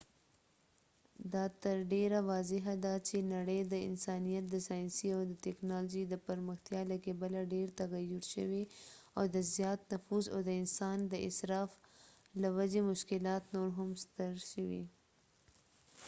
دا تر ډیره واضح ده چې نړۍ د انسانیت د ساینسي او تکنالوژۍ د پرمختیا له کبله ډیره تغیر شوې او د زیات نفوس او د انسان د اصراف له وجې مشکلات نور هم ستر شوي